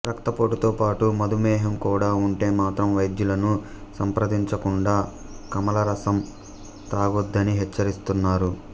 రక్తపోటుతో పాటు మధుమేహం కూడా ఉంటే మాత్రం వైద్యులను సంప్రదించకుండా కమలారసం తాగొద్దని హెచ్చరిస్తున్నారు